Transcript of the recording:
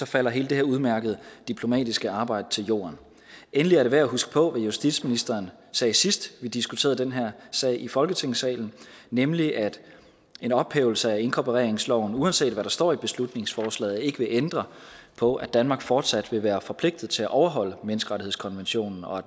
falder hele det her udmærkede diplomatiske arbejde til jorden endelig er det værd at huske på hvad justitsministeren sagde sidst vi diskuterede den her sag i folketingssalen nemlig at en ophævelse af inkorporeringsloven uanset hvad der står i beslutningsforslaget ikke vil ændre på at danmark fortsat vil være forpligtet til at overholde menneskerettighedskonventionen og at